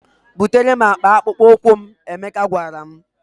"Butere m akpa akpụkpọ ụkwụ m," Emeka gwara m.